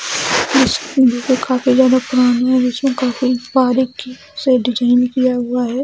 School को काफी ज्यादा पुरानी है और इसको काफी बारीक से डिज़ाइन किया गया हैं।